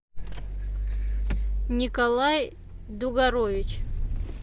николай дугарович